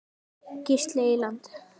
Gísli Eyland.